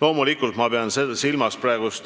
Loomulikult pean silmas praegust